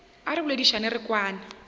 a re boledišane re kwane